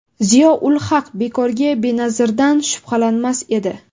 Ziyo ul-Haq bekorga Benazirdan shubhalanmas edi.